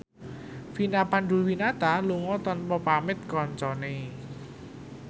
Vina Panduwinata lunga tanpa pamit kancane